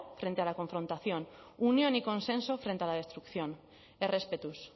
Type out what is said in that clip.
frente a la confrontación unión y consenso frente a la destrucción errespetuz